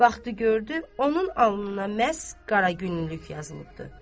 Baxdı gördü, onun alnına məhz qara günlülük yazılıbdır.